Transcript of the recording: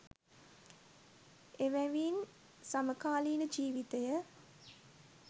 එවැවින් සමකාලීන ජීවිතය